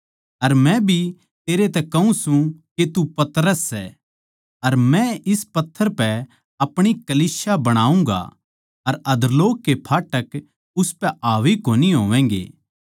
अर मै भी तेरै तै कहूँ सूं के तू पतरस सै अर मै इस पत्थर पै अपणी कलीसिया बणाऊँगा अर अधोलोक के फाटक उसपै हावी कोनी होवैगें